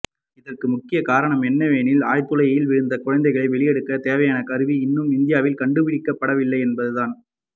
இதற்கு முக்கிய காரணம் என்னவெனில் ஆழ்துளையில் விழுந்த குழந்தைகளை வெளியே எடுக்க தேவையான கருவி இன்னும் இந்தியாவில் கண்டுபிடிக்கப்படவில்லை என்பதுதான்